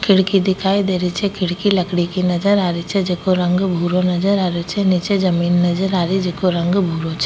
खिड़की दिखाई दे रही छे खिड़की लकड़ी की नजर आ री छे जेको रंग भूरो नजर आ रो छे नीच जमीन नजर आरी जैको रंग भूरो छ।